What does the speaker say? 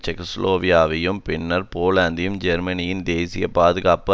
செக்கோஸ்லோவேகியாவையும் பின்னர் போலந்தையும் ஜெர்மனியின் தேசிய பாதுகாப்புக்கு